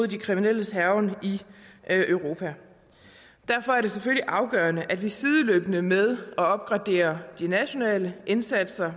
de kriminelles hærgen i europa derfor er det selvfølgelig afgørende at vi sideløbende med at opgradere de nationale indsatser